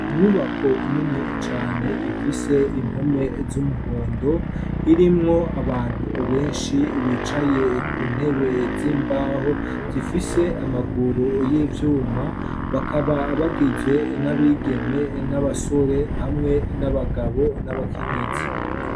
Inyubako nini cane ifise impome z'umuhondo irimwo abantu benshi bicaye ku ntebe z'imbaho zifise amaguru y'ivyuma bakaba bagizwe n'abigeme n'abasore hamwe n'abagabo n'abakenyezi.